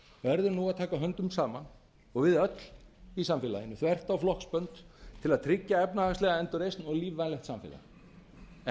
verður nú að taka höndum saman og við öll í samfélaginu þvert á flokksbönd til að tryggja efnahagslega endurreisn og lífvænlegt samfélag en